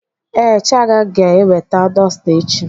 Ee, Chiaga ga-eweta dọsta echi.